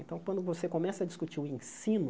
Então, quando você começa a discutir o ensino,